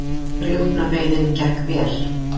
Rjúpnaveiðin gekk vel